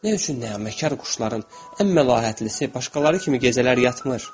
Nə üçün nəğməkar quşların ən məlahətlisi başqaları kimi gecələr yatmır?